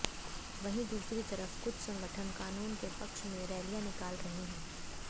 वहीं दूसरी तरफ कुछ संगठन कानून के पक्ष में रैलियां निकाल रहे हैं